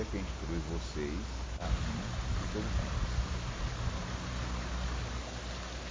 E é quem instrui vocês, a mim e todos nós.